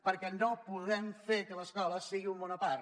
perquè no podem fer que l’escola sigui un món a part